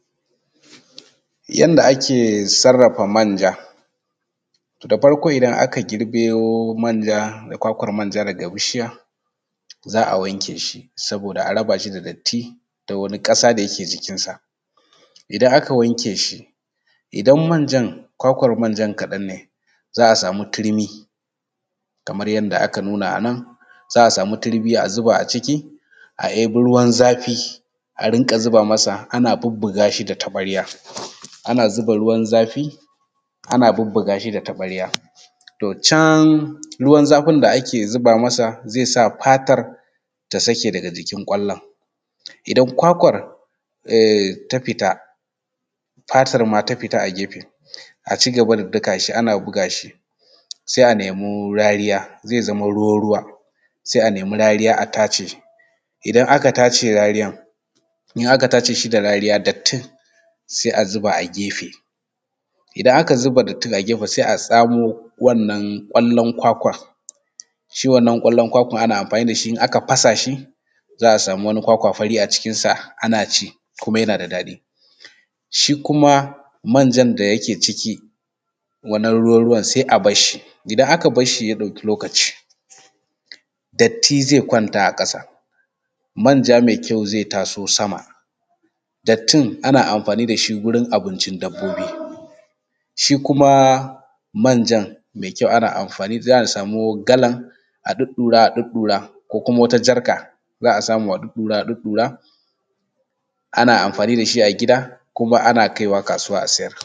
Yanda ake sarrafa manja. Da farko idan aka girbo manja da kwakwar manja daga bishiya, za a wanke shi saboda a raba shi da datti da wani ƙasa da yake jikin sa. Idan aka wanke shi idan manjan kwakwar manjan kaɗan ne za a samu turmi kamar yanda aka nuna a nan, za a samu turmi a zaba a ciki a ebi ruwan zafi a rinƙa masa ana bubbuga shi da taɓarya, ana zuba ruwan zafi ana bubbuga shi da taɓarya. Toh can ruwan zafin da ake zuba masa zai sa fatar ta sake daga jikin ƙwallon. Idan kwakwar ehh ta fita fatar ma ta fita a gefe a cigaba da daka shi ana buga shi sai a nemi rariya zai zama ruwa-ruwa sai a nemi rariya a tace, idan aka tace rariyar in aka tace shi da rariya dattin sai a zuba a gefe. Idan aka zuba dattin a gefe sai a tsamo wannan ƙwallon kwakwan shi wannan ƙwallon kwakwar ana amfani da shi in aka fasa shi za a samu wani kwakwa fari a cikin sa ana ci kuma yana da daɗi. Shi kuma manjan da yake ciki wannan ruwa-ruwan sai a basshi, idan aka barshi ya ɗauki wani lokaci datti zai kwanta a ƙasa, manja mai kyau zai taso sama dattin ana amfani da shi gurin abincin dabbobi shi kuma manjan mai kyau ana amfani za a samu galan a ɗuɗɗura a ɗuɗɗura ko kuma wata jarka za a samu a ɗuɗɗura a ɗuɗɗura ana amfani da shi a gida kuma ana kaiwa kasuwa a siyar.